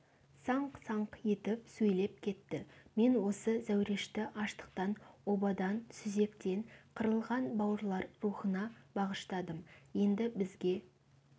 саңқ-саңқ етіп сөйлеп кетті мен осы зәурешті аштықтан обадан сүзектен қырылған бауырлар рухына бағыштадым енді бізге